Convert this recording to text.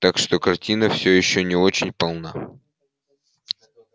так что картина всё ещё не очень полна